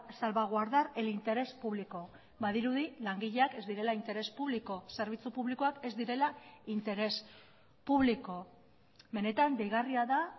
salvaguardar el interés público badirudi langileak ez direla interés público zerbitzu publikoak ez direla interés público benetan deigarria da